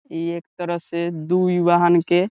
इ एक तरह से दू यु वाहन के --